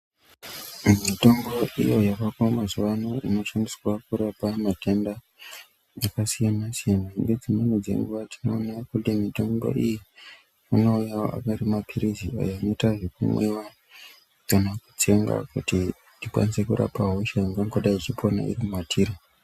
Mitombo iyo yavako wamazuva ano inoshandiswa kurapa matenda akasiyana siyana nedzimweni dzenguva tinoona kuti mitombo iyi inouyawo ari mapirizi kana yeita yokumwiwa kana kutsenga kuti tikwanise kurapa hosha inonga iri matiri.